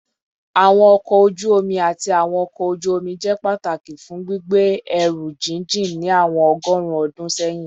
Awọn ọkọ oju omi ati awọn ọkọ oju-omi jẹ pataki fun gbigbe ẹru jijin ni awọn ọgọrun ọdun sẹyin